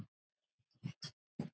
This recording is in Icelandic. Hún var svo hýr.